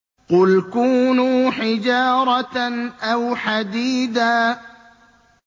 ۞ قُلْ كُونُوا حِجَارَةً أَوْ حَدِيدًا